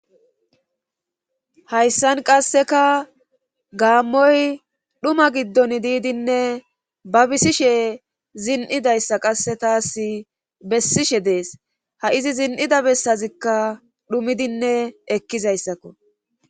Hayssan qasseka gaammoy dhuma giddon diidinne ba bisishe zin7idayssa qasse taas bessishe dees ha izi zin7ida bessazikka dhumidinne ekkizayssakko